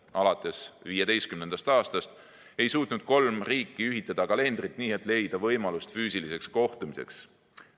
Alates 2015. aastast ei suutnud kolm riiki ühitada kalendrit nii, et leida võimalust füüsiliseks kohtumiseks.